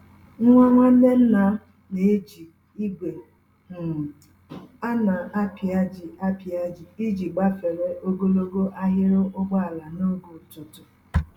Nwa Nwanne ńnàm na-eji igwe um a na-apịaji apịaji iji gbafere ogologo ahiri ụgbọala n'oge ụtụtụ